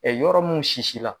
Ɛ yɔrɔ mun sisi la